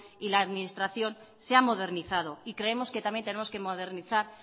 y la administración se ha modernizado y creemos que también tenemos que modernizar